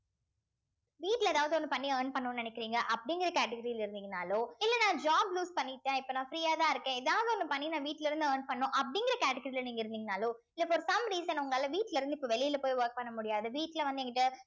வீட்ல ஏதாவது ஒண்ணு பண்ணி earn பண்ணணும்னு நினைக்கிறீங்க அப்படிங்கிற category ல இருந்தீங்கன்னாலோ இல்ல நான் job loose பண்ணிட்டேன் இப்ப நான் free யா தான் இருக்கேன் ஏதாவது ஒன்னு பண்ணி நான் வீட்ல இருந்து earn பண்ணனும் அப்படிங்கிற category ல நீங்க இருந்தீங்கன்னாலோ இல்ல இப்ப ஒரு some reason உங்களால வீட்ல இருந்து இப்ப வெளில போய் work பண்ண முடியாது வீட்ல வந்து என்கிட்ட